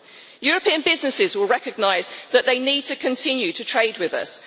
European businesses will recognise that they need to continue to trade with us.